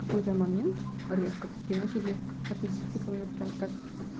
какой-то момент резко такие начали относиться ко меня прям так